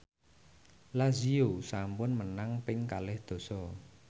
Lazio sampun menang ping kalih dasa